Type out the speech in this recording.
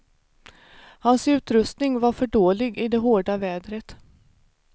Hans utrutsning var för dålig i det hårda vädret.